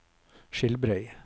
Skilbrei